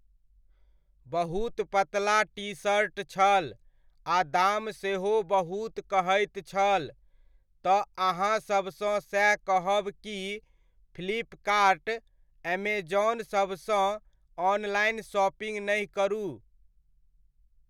बहुत पतला टीशर्ट छल आ दाम सेहो बहुत कहैत छल, तऽ अहाँसभसँ सएह कहब की फ्लिपकार्ट अमेज़ॉनसभसँ ऑनलाइन शॉपिंग नहि करू।